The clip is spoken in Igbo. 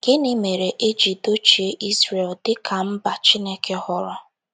Gịnị mere e ji dochie Izrel dị ka mba Chineke họọrọ?